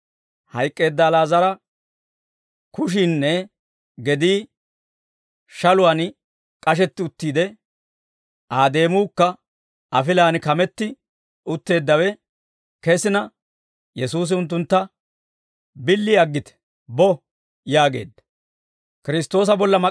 Hayk'k'eedda Ali'aazara kushiinne gedii shaluwaan k'ashetti uttiide Aa deemuukka afilaan kametti utteeddawe kesina Yesuusi unttuntta, «Billi aggite! Bo!» yaageedda.